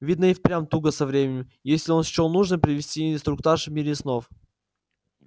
видно и впрямь туго со временем если он счёл нужным провести инструктаж в мире снов